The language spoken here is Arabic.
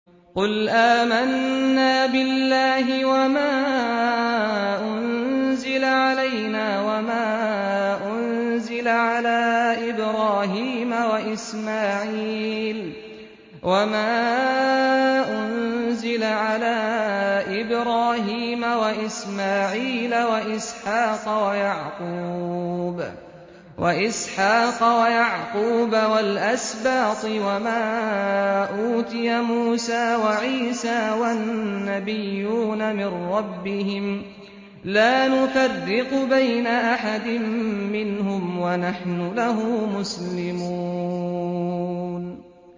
قُلْ آمَنَّا بِاللَّهِ وَمَا أُنزِلَ عَلَيْنَا وَمَا أُنزِلَ عَلَىٰ إِبْرَاهِيمَ وَإِسْمَاعِيلَ وَإِسْحَاقَ وَيَعْقُوبَ وَالْأَسْبَاطِ وَمَا أُوتِيَ مُوسَىٰ وَعِيسَىٰ وَالنَّبِيُّونَ مِن رَّبِّهِمْ لَا نُفَرِّقُ بَيْنَ أَحَدٍ مِّنْهُمْ وَنَحْنُ لَهُ مُسْلِمُونَ